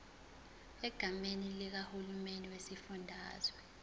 egameni likahulumeni wesifundazwe